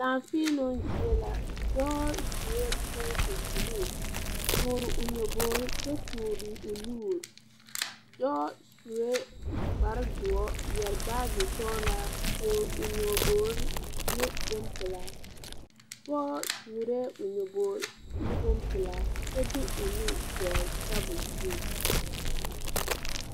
Laafēēloŋ zie la dɔɔ suee kootu bluu toore o nyabogre kyɛ toore o nuure dɔɔ suee kpare doɔ yɛre bagye sɔɔlaa toore o nyobogre ne bonpilaa pogɔ toorɛɛ o nyobogre ne bonpilaa kyɛ de o nuure dɔgle tabol zuŋ.